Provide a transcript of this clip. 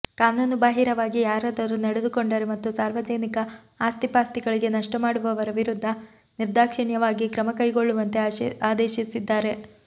ಕಾನೂನು ಬಾಹಿರವಾಗಿ ಯಾರಾದರೂ ನಡೆದುಕೊಂಡರೆ ಮತ್ತು ಸಾರ್ವಜನಿಕ ಆಸ್ತಿಪಾಸ್ತಿಗಳಿಗೆ ನಷ್ಟಮಾಡುವವರ ವಿರುದ್ಧ ನಿರ್ದಾಕ್ಷಿಣ್ಯವಾಗಿ ಕ್ರಮ ಕೈಗೊಳ್ಳುವಂತೆ ಆದೇಶಿಸಿದ್ದಾರೆ